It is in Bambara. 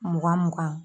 Mugan mugan